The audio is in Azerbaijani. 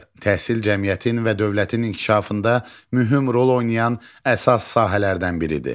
Təhsil cəmiyyətin və dövlətin inkişafında mühüm rol oynayan əsas sahələrdən biridir.